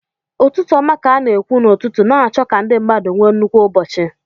Ụtụtụ ọma ka a na-ekwu n'ụtụtụ, na-achọ ka ndị mmadụ nwee nnukwu ụbọchị